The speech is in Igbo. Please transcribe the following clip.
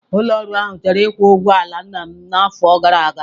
Ụlọ ọrụ ahụ chọrọ ịkwụ ụgwọ ala nna m n'afọ gara aga.